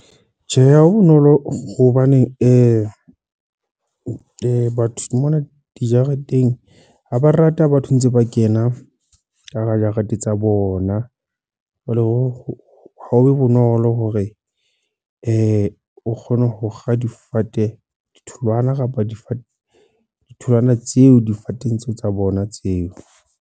Tjhe, ha ho bonolo hobaneng batho mona dijareteng. Ha ba rata batho ntse ba kena ka hara jarete tsa bona. Jwale ha ho be bonolo hore o kgone ho kga difate, ditholwana kapa difate, ditholwana tseo difateng tseo tsa bona tseo.